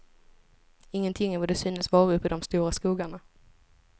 Ingenting är vad det synes vara uppe i de stora skogarna.